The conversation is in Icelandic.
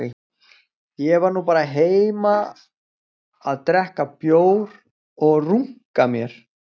Ég var nú bara heima að drekka bjór og runka mér